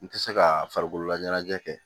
N tɛ se ka farikolo laɲɛnajɛ kɛ